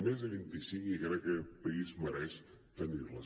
més de vint i cinc i crec que aquest país mereix tenir les